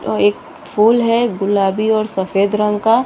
और एक फुल है गुलाबी और सफ़ेद रंग का --